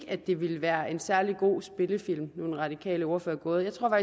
at det ville være en særlig god spillefilm nu er den radikale ordfører gået jeg tror